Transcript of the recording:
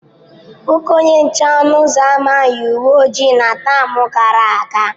Nwoke onye nche ọnụ ụzọ ámá yi uwe ojii na tam gara aga.